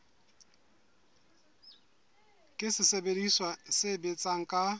ke sesebediswa se sebetsang ka